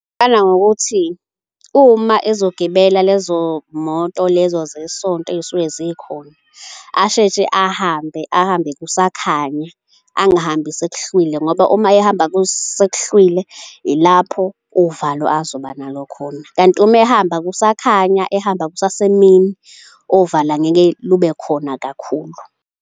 Ngingaqala ngokuthi uma ezogibela lezo moto lezo zesonto ey'suke zikhona asheshe ahambe, ahambe kusakhanya, angihambi sekuhlwile ngoba uma ehamba kusekuhlwile ilapho uvalo azoba nalo khona. Kanti uma ehamba kusakhanya ehamba kusasemini uvalo angeke lube khona kakhulu.